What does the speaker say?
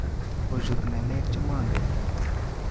Kochut ng'aleek chemongen